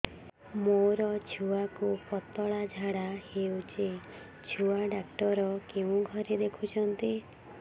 ମୋର ଛୁଆକୁ ପତଳା ଝାଡ଼ା ହେଉଛି ଛୁଆ ଡକ୍ଟର କେଉଁ ଘରେ ଦେଖୁଛନ୍ତି